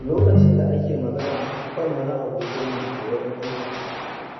Lokacin da ake magana kan wani abokinmu a wurin aiki,